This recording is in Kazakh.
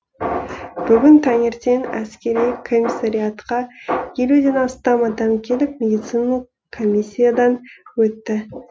бүгін таңертең әскери комиссариатқа елуден астам адам келіп медициналық коммиясиядан өтті